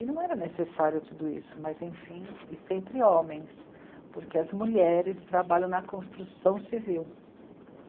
E não era necessário tudo isso, mas enfim, e sempre homens, porque as mulheres trabalham na construção civil.